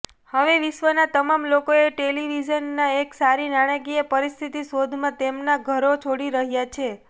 હવે વિશ્વના તમામ લોકોએ ટેલિવિઝનના એક સારી નાણાકીય પરિસ્થિતિ શોધમાં તેમના ઘરો છોડી રહ્યાં છે